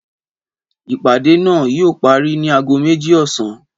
Ìpàdé náà yíò parí ni ago méjì ọ̀sán